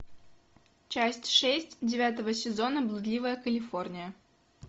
часть шесть девятого сезона блудливая калифорния